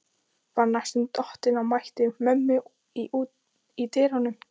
Var næstum dottinn og mætti mömmu í dyrunum.